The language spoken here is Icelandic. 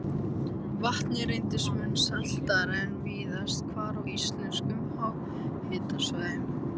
Vatnið reyndist mun saltara en víðast hvar á íslenskum háhitasvæðum.